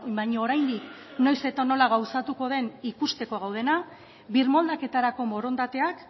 baina oraindik noiz eta nola gauzatuko den ikusteko gaudena birmoldaketarako borondateak